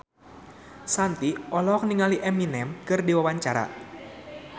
Shanti olohok ningali Eminem keur diwawancara